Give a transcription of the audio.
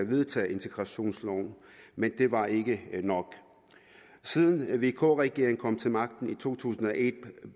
vedtage integrationsloven men det var ikke nok siden vk regeringen kom til magten i to tusind og et